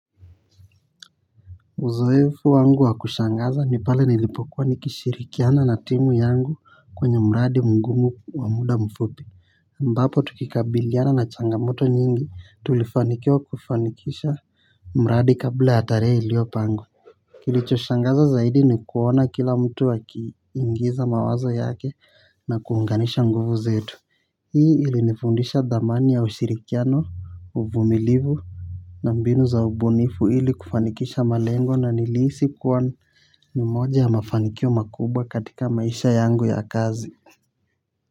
Uzoefu wangu wa kushangaza ni pale nilipokuwa nikishirikiana na timu yangu kwenye mradi mgumu wa muda mfupi ambapo tukikabiliana na changamoto nyingi tulifanikiwa kufanikisha mradi kabla ya tarehe iliyopangwa. Kilicho shangaza zaidi ni kuona kila mtu akiingiza mawazo yake na kuunganisha nguvu zetu. Hii ili nifundisha dhamani ya ushirikiano uvumilivu nambinu za ubunifu ili kufanikisha malengo na nilihisi kuwa nimoja ya mafanikio makubwa katika maisha yangu ya kazi.